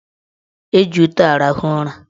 Eji ute arahụ ụra.